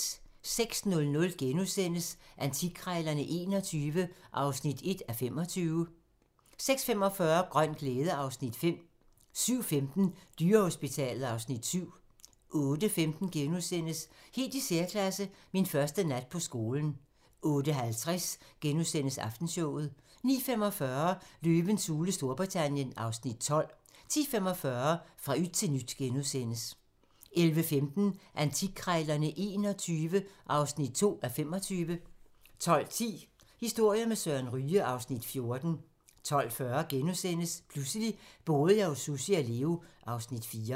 06:00: Antikkrejlerne XXI (1:25)* 06:45: Grøn glæde (Afs. 5) 07:15: Dyrehospitalet (Afs. 7) 08:15: Helt i særklasse – Min første nat på skolen * 08:50: Aftenshowet * 09:45: Løvens hule Storbritannien (Afs. 12) 10:45: Fra yt til nyt * 11:15: Antikkrejlerne XXI (2:25) 12:10: Historier med Søren Ryge (Afs. 14) 12:40: Pludselig boede jeg hos Sussi og Leo (Afs. 4)*